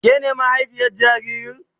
Ke na mahaifiyar jaririn?